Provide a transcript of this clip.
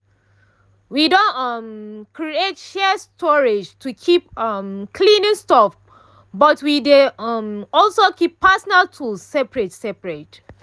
we don um create shared storage to keep um cleaning stuff but we dey um also keep personal tools separate separate